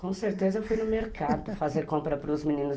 Com certeza eu fui no mercado fazer compra para os meninos.